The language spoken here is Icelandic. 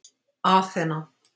Aþena